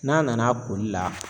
N'a nana a koli la